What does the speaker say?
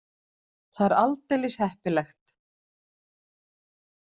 Það er aldeilis heppilegt.